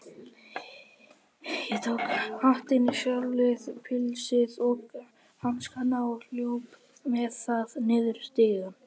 Ég tók hattinn, sjalið, pilsið og hanskana og hljóp með það niður stigann.